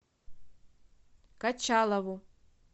качалову